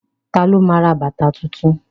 Ta ló ma ra bàtà tuntun?